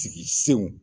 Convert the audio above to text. Sigi senw